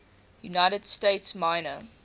united states minor